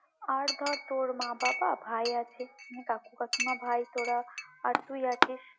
আর ধর তোর মা, বাবা, ভাই আছে মানে কাকু কাকিমা ভাই তোরা আর তুই আছিস।